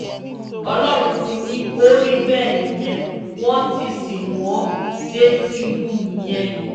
ọlọ́run ti ní ó rí bẹ́ẹ̀ nìyẹn wọ́n ti sin wọn dé ti hù ú nìyẹn